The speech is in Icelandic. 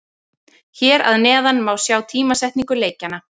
Hér að neðan má sjá tímasetningu leikjanna.